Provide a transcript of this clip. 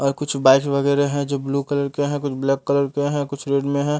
और कुछ बाइक वगैरा है जो ब्लू कलर के हैं कुछ ब्लैक कलर के हैं कुछ रेड में हैं।